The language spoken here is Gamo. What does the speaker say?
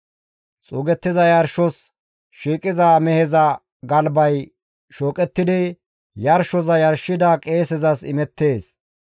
Xuugettiza yarshos shiiqiza meheza galbay shooqettidi yarshoza yarshida qeesezas imettees.